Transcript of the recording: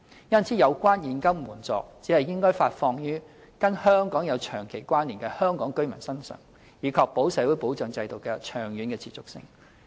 因此，有關現金援助只應發放予跟香港有長期關連的香港居民，以確保社會保障制度的長遠持續性。